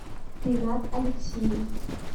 ренат алексеев